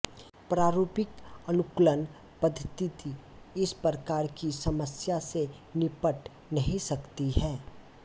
प्रारूपिक अनुकूलन पद्धति इस प्रकार की समस्या से निपट नहीं सकती है